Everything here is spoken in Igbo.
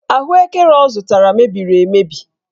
Ahụekere ọ zụtara mebiri emebi.